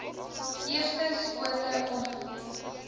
eerste skote ongeveer